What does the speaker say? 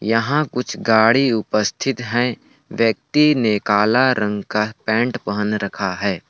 यहाँ कुछ गाड़ी उपस्थित हैं। व्यक्ति ने काला रंग का पैंट पहन रखा है।